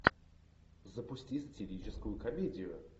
запусти сатирическую комедию